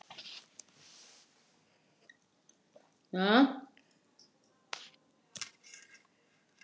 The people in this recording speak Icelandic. Er einhver flensa að ganga?